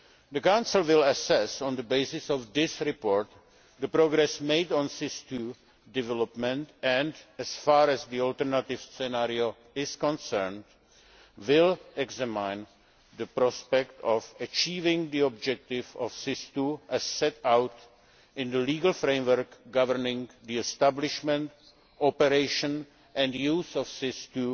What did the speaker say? The Council will assess, on the basis of this report, the progress made on SIS II development and, as far as the alternative scenario is concerned, will examine the prospect of achieving the objective of SIS II as set out in the legal framework governing the establishment, operation and use of SIS